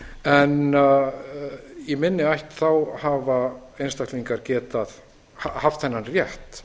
en í minni ætt hafa einstaklingar haft þennan rétt